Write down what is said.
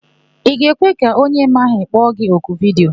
Ị ga-ekwe ka onye ị maghị kpọ gi oku vidiyo?